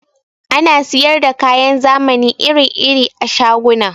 Ana siyar da kayan zamani iri-iri a shaguna.